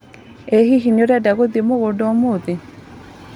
ĩ hihi nĩũrenda gũthĩi mũgunda ũmũthĩ?